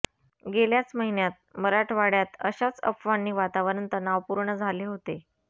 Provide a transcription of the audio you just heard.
गेल्याच महिन्यात मराठवाड्यात अशाच अफवांनी वातावरण तणावपूर्ण झाले होते